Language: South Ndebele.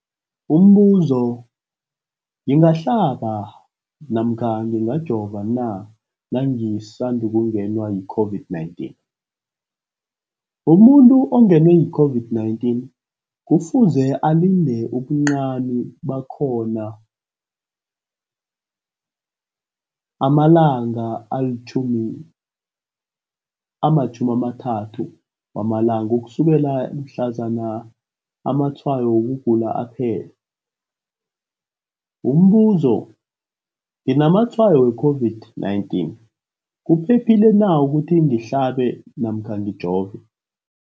Umbuzo, ngingahlaba namkha ngingajova na nangisandu kungenwa yi-COVID-19? Umuntu ongenwe yi-COVID-19 kufuze alinde ubuncani bakhona ama-30 wama langa ukusukela mhlazana amatshayo wokugula aphela. Umbuzo, nginamatshayo we-COVID-19, kuphephile na ukuthi ngihlabe namkha ngijove?